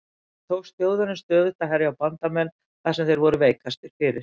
Þannig tókst Þjóðverjum stöðugt að herja á bandamenn þar sem þeir voru veikastir fyrir.